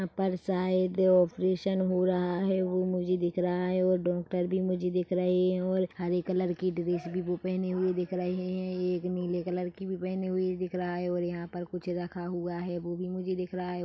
अपर side operation हो रहा है वो मुझे दिख रहा है और डॉक्टर भी मुझे दिख रहे है और हरे कलर की ड्रेस वो भी पहने हुए दिख रहे है एक नीले कलर की पहनी हुई भी दिख रहा हैंऔर यहाँ पर कुछ रखा हुआ वो भी दिख रहा है।